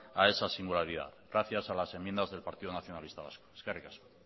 a esa singularidad gracias a las enmiendas del partido nacionalistas vasco eskerrik asko